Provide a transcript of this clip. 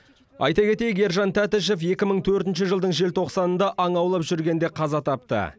айта кетейік ержан тәтішев екі мың төртінші жылдың желтоқсанында аң аулап жүргенде қаза тапты